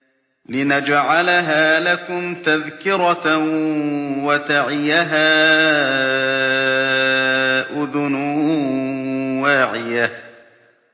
لِنَجْعَلَهَا لَكُمْ تَذْكِرَةً وَتَعِيَهَا أُذُنٌ وَاعِيَةٌ